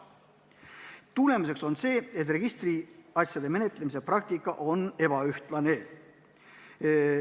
Tagajärg on see, et registriasjade menetlemise praktika on ebaühtlane.